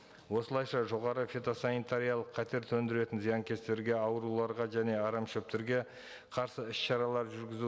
осылайша жоғары фитосанитариялық қатер төндіретін зиянкестерге ауруларға және арамшөптерге қарсы іс шаралар жүргізу